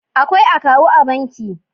Akwai akawu a banki.